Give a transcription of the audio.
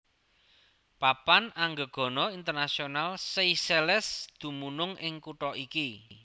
Papan Anggegana Internasional Seychelles dumunung ing kutha iki